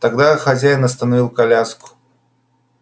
тогда хозяин остановил коляску